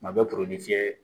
Kuma bɛɛ fiyɛ